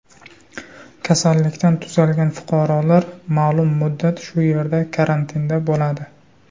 Kasallikdan tuzalgan fuqarolar ma’lum muddat shu yerda karantinda bo‘ladi.